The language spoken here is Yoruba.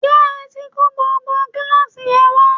ṣé ẹ tí kó gbogbo gíláàsì yẹn wá?